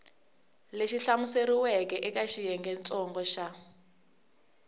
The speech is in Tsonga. lexi hlamuseriweke eka xiyengentsongo xa